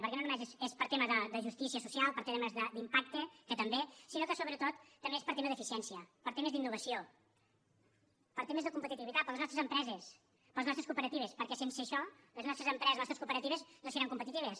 perquè no només és per tema de justícia social per temes d’impacte que també sinó que sobretot també és per tema d’eficiència per temes d’innovació per temes de competitivitat per les nostres empreses per les nostres cooperatives perquè sense això les nostres empreses les nostres cooperatives no seran competitives